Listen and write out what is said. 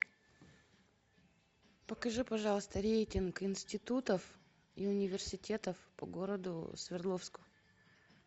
покажи пожалуйста рейтинг институтов и университетов по городу свердловску